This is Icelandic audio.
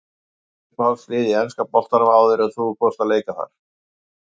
Uppáhaldslið í enska boltanum áður en að þú fórst að leika þar?